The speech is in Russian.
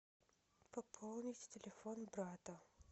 пополнить телефон брата